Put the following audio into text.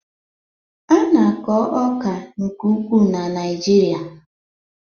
A na-akọ ọka nke ukwuu na Naijiria